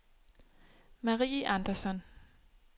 Marie Andersson